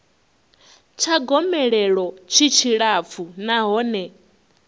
tsha gomelelo tshi tshilapfu nahone